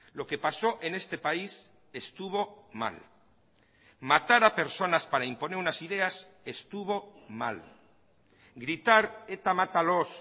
lo que pasó en este país estuvo mal matar a personas para imponer unas ideas estuvo mal gritar eta mátalos